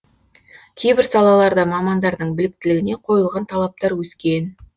кейбір салаларда мамандардың біліктілігіне қойылған талаптар өскен